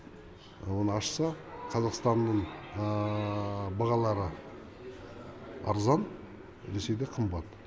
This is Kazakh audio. оны ашса қазақстанның бағалары арзан ресейде қымбат